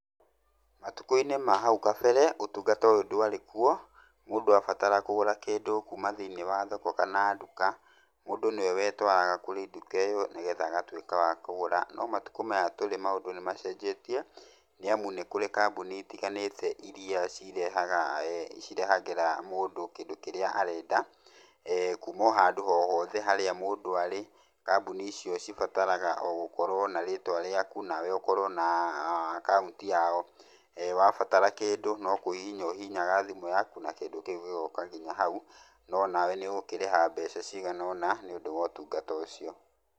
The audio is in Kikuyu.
Matukũ-inĩ ma hau kabere, ũtungata ũyũ ndwarĩ kwo, mũndũ abatara kũgũra kĩndũ kuma thĩinĩ wa thoko kana nduka, mũndũ nĩwe wetwaraga kũrĩ nduka ĩyo, nĩgetha agatwĩka wa kũgũra, no matukũ maya tũrĩ maũndũ nĩ macenjetie, nĩ amu nĩ kũrĩ kambuni itiganĩte iria cirehaga[eeh] cirehagĩra mũndũ kĩndũ kĩrĩa arenda, eeh kuma handũ hohothe harĩa mũndũ arĩ, kambuni icio cibataraga o gũkorwo na rĩtwa rĩaku, nawe ũkorwo na aa akaunti yao, ee wabatara kĩndũ no kũhihinya ũhihinyaga thimũ yaku na kĩndũ kĩu gĩgoka nginya hau, nonawe nĩ ũgũkĩrĩha mbeca cigana ũna nĩ ũndũ wotungata ũcio.